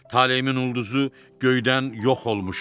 Taleyimin ulduzu göydən yox olmuşdu.